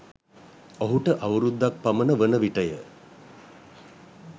ඔහුට අවුරුදක් පමණ වන විටය.